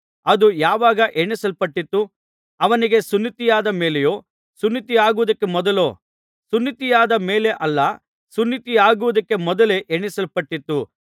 ಅದು ಯಾವಾಗ ಎಣಿಸಲ್ಪಟ್ಟಿತು ಅವನಿಗೆ ಸುನ್ನತಿಯಾದ ಮೇಲೆಯೋ ಸುನ್ನತಿಯಾಗುವುದಕ್ಕೆ ಮೊದಲೋ ಸುನ್ನತಿಯಾದ ಮೇಲೆ ಅಲ್ಲ ಸುನ್ನತಿಯಾಗುವುದಕ್ಕೆ ಮೊದಲೇ ಎಣಿಸಲ್ಪಟ್ಟಿತು